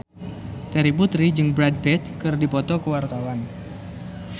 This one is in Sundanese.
Terry Putri jeung Brad Pitt keur dipoto ku wartawan